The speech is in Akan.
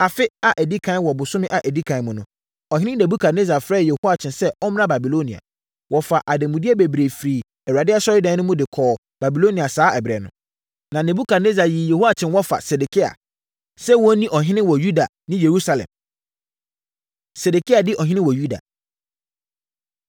Afe a ɛdi ɛkan wɔ bosome a ɛdi ɛkan mu no, ɔhene Nebukadnessar frɛɛ Yehoiakyin sɛ ɔmmra Babilonia. Wɔfaa ademudeɛ bebree firii Awurade Asɔredan no mu de kɔɔ Babilonia saa ɛberɛ no. Na Nebukadnessar yii Yehoiakyin wɔfa Sedekia, sɛ ɔnni ɔhene wɔ Yuda ne Yerusalem. Sedekia Di Ɔhene Wɔ Yuda